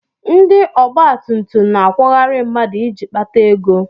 Ndị ọgbatumtum na-akwọgharị mmadụ iji kpata ego.